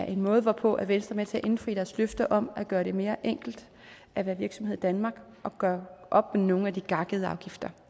en måde hvorpå venstre er med til at indfri vores løfte om at gøre det mere enkelt at være virksomhed i danmark og gøre op med nogle af de gakkede afgifter